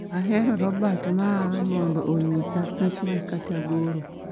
Ahero robot maa mondo onyisa pichni kata goro